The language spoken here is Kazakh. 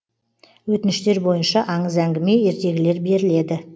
өтініштер бойынша аңыз әңгіме ертегілер беріледі